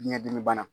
Biyɛn dimi bana